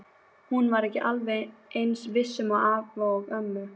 Hún var ekki alveg eins viss um afa og ömmu.